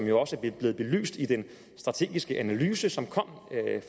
jo også er blevet belyst i den strategiske analyse som kom